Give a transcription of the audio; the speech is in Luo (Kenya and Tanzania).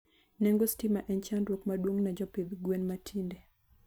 Nengi stima en chandruok maduong ne jopidh gwen matinde